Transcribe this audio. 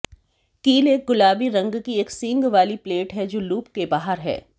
कील एक गुलाबी रंग की एक सींग वाली प्लेट है जो लूप के बाहर है